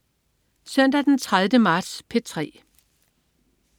Søndag den 30. marts - P3: